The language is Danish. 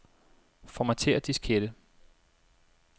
Formatér diskette.